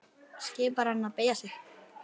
Skipar henni að beygja sig.